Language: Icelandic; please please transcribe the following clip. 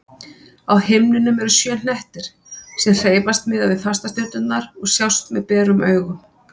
Á himninum eru sjö hnettir sem hreyfast miðað við fastastjörnurnar og sjást með berum augum.